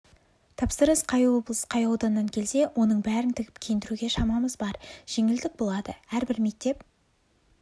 тапсырыс қай облыс қай ауданнан келсе оның бәрін тігіп киіндіруге шамамыз бар жеңілдік болады әрбір мектеп